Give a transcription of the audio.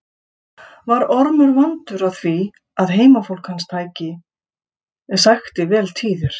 Var Ormur vandur að því að heimafólk hans sækti vel tíðir.